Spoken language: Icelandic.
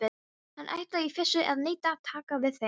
Hann ætlaði í fyrstu að neita að taka við þeim.